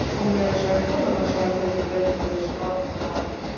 Og meira að segja konan hans hafi fundið breytinguna sem orðin er á honum.